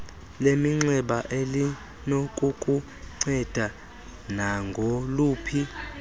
leminxeba elinokukunceda nangoluphi